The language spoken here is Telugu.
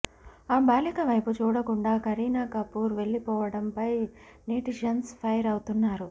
ఆ బాలిక వైపు చూడకుండా కరీనా కపూర్ వెళ్లిపోవడంపై నెటిజన్స్ ఫైర్ అవుతున్నారు